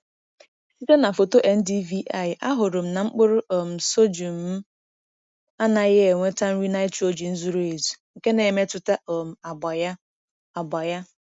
Site na foto NDVI, ahụrụ m na mkpụrụ um sorghum m anaghị enweta nri nitrogen zuru ezu, nke na-emetụta um agba ya. agba ya.